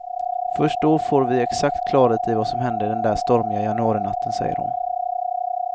Först då får vi exakt klarhet i vad som hände den där stormiga januarinatten, säger hon.